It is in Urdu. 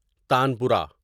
تانپورہ